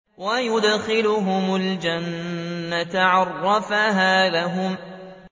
وَيُدْخِلُهُمُ الْجَنَّةَ عَرَّفَهَا لَهُمْ